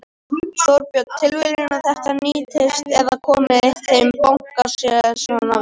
Þorbjörn: Tilviljun að þetta nýtist eða komi þeim banka sér svona vel?